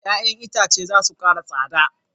Ya'yan itace za su kara tsada.